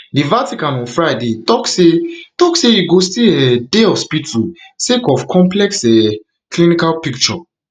di vatican on friday tok say tok say e go still um dey hospital sake of complex um clinical picture